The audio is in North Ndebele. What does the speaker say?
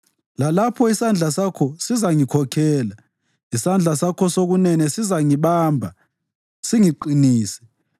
lalapho isandla sakho sizangikhokhela, isandla sakho sokunene sizangibamba singiqinise.